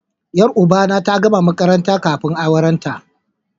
Yar uba na ta gama makaranta kafin aurenta